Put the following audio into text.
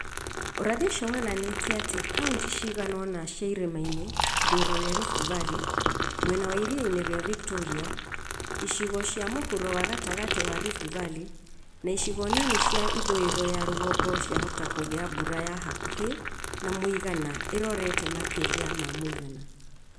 Ũrathi ũcio wonanĩtie atĩ kauntĩ cigana ũna cia irĩma-inĩ ithũĩro rĩa Rift Valley, mwena wa iria-inĩ rĩa Victoria, icigo cia mũhuro na gatagatĩ wa Rift Valley, na icigo nini cia ithũĩro ya rũgongo ciahota kũgĩa mbura ya hakuhĩ na mũigana ĩrorete makĩria ma mũigana